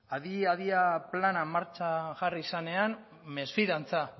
adi adian plana martxan jarri zenean mesfidantza